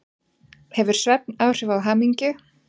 Hefur svefn áhrif á hamingju?